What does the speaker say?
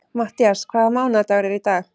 Matthías, hvaða mánaðardagur er í dag?